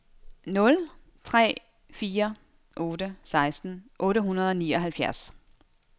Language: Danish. nul tre fire otte seksten otte hundrede og nioghalvfjerds